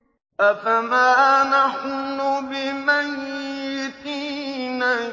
أَفَمَا نَحْنُ بِمَيِّتِينَ